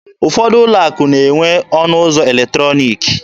Ụfọdụ ụlọ akụ na-enwe ọnụ ụzọ eletrọniki.